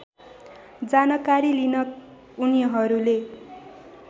जानकारी लिन उनीहरूले